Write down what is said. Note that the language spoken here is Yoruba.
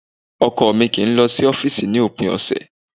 Ọkọ mi kì í lọ sí ọ́fìsì ni òpin ọ̀sẹ̀